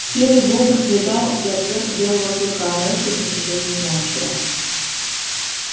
серый бобр предал и отверг белого клыка но это ничего не значило